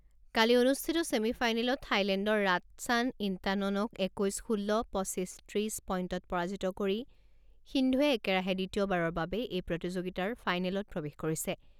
কালি অনুষ্ঠিত ছেমি ফাইনেলত থাইলেণ্ডৰ ৰাটছান ইণ্টাননক একৈছ ষোল্ল, পঁচিছ ত্ৰিছ পইণ্টত পৰাজিত কৰি সিন্ধুৱে একেৰাহে দ্বিতীয়বাৰৰ বাবে এই প্ৰতিযোগিতাৰ ফাইনেলত প্ৰৱেশ কৰিছে।